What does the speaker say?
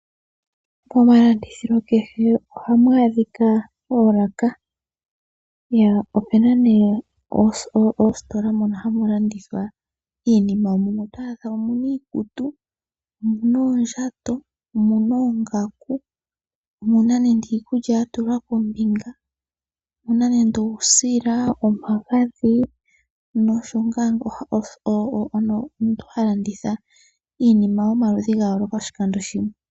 Momalandithilo kehe ohamu adhia oolaka. Opuna nee oositola mono hamu landithwa, mumwe oto adha muna iikutu, oondjato, iikulya yatulwa kombinga, uusila, omagadhi nomuntu oha landitha iinima ya yooloka oshikando shimwe.